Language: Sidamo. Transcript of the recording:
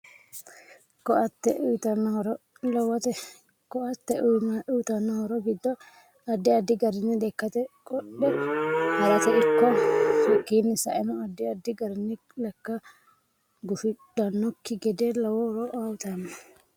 Ko'ate uyiitanno horo lowote ko'ate uyiitanno horo giddo addi addi garinni lekkate qodhe harate ikko hakiini sa'eno addi addi garini lekka gufidhanokki gede lowo horo uyiitano